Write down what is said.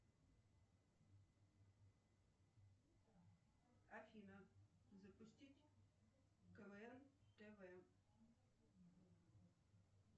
афина запустить квн тв